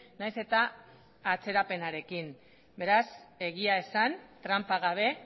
nahiz eta atzerapenarekin beraz egia esan tranpa gabe